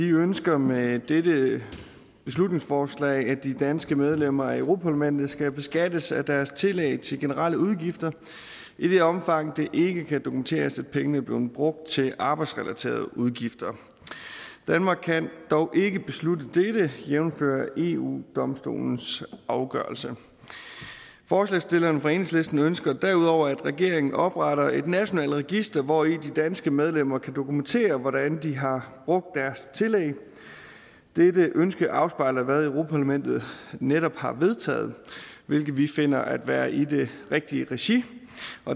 ønsker med dette beslutningsforslag at de danske medlemmer af europa parlamentet skal beskattes af deres tillæg til generelle udgifter i det omfang det ikke kan dokumenteres at pengene er blevet brugt til arbejdsrelaterede udgifter danmark kan dog ikke beslutte dette jævnfør eu domstolens afgørelse forslagsstillerne fra enhedslisten ønsker derudover at regeringen opretter et nationalt register hvori de danske medlemmer kan dokumentere hvordan de har brugt deres tillæg dette ønske afspejler hvad europa parlamentet netop har vedtaget hvilket vi finder at være i det rigtige regi